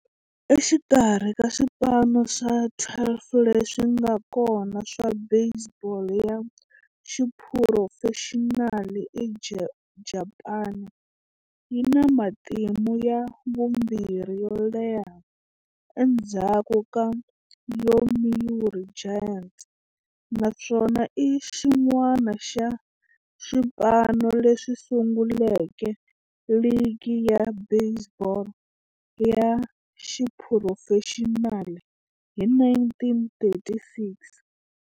Exikarhi ka swipano swa 12 leswi nga kona swa baseball ya xiphurofexinali eJapani, yi na matimu ya vumbirhi yo leha endzhaku ka Yomiuri Giants, naswona i xin'wana xa swipano leswi sunguleke ligi ya baseball ya xiphurofexinali hi 1936.